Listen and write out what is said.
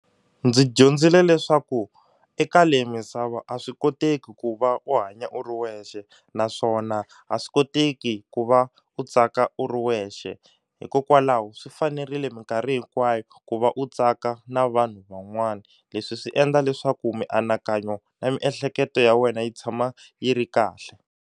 Ndzi dyondzile leswaku eka leyi misava a swi koteki ku va u hanya u ri wexe naswona a swi koteki ku va u tsaka u ri wexe hikokwalaho swi fanerile minkarhi hinkwayo ku va u tsaka na vanhu van'wana leswi swi endla leswaku mianakanyo na miehleketo ya wena yi tshama yi ri kahle.